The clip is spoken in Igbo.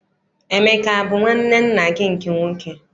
Emeka abụ nwanne nna gị nke nwoke?